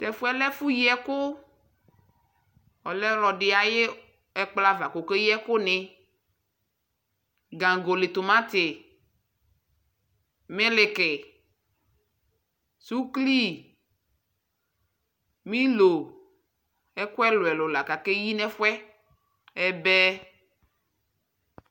Tʊ ɛfʊ yɛ lɛ ɛfʊ yi ɛkʊ, ɔlɛ ɔlɔdɩ ayʊ ɛkplɔ ava kʊ okeyi ɛkʊnɩ, ikoli timati, miliki, suklui, milo, ɛbɛ, ɛkʊ ɛlʊɛlʊ la kʊ akeyi nʊ ɛfʊ yɛ